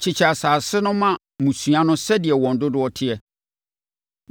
“Kyekyɛ asase no ma mmusua no sɛdeɛ wɔn dodoɔ teɛ.